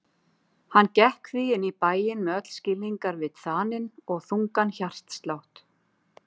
Hann gekk því inn í bæinn með öll skilningarvit þanin og þungan hjartslátt.